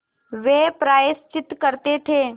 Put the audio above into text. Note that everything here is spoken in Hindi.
वे प्रायश्चित करते थे